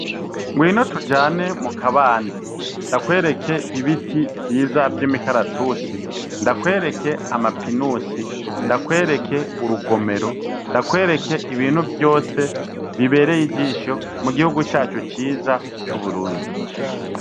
Ngwino tujane mu kabande, ndakwereke ibiterwa vyiza vy'imukaratusi, ndakwereke ama pinusi, ndakwereke urugomero, ndakwereke ibintu vyose bibereye ijisho mu gihugu cacu ciza c'uburundi.